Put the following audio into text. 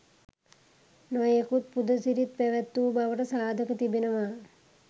නොයෙකුත් පුද සිරිත් පැවැත් වූ බවට සාධක තිබෙනවා.